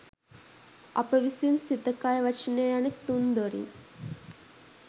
අප විසින් සිත කය වචනය යන තුන් දොරින්